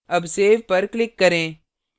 अब सेव पर click करें